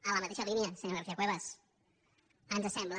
en la mateixa línia senyora garcia cuevas ens sembla